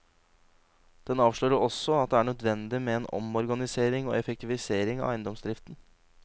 Den avslører også at det er nødvendig med en omorganisering og effektivisering av eiendomsdriften.